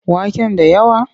Waken da yawa?